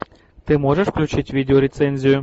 ты можешь включить видеорецензию